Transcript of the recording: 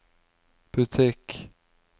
butikk